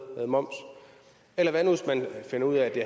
moms eller hvad nu hvis man finder ud af at det